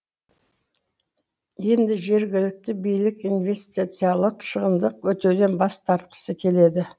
енді жергілікті билік инвестициялық шығынды өтеуден бас тартқысы келеді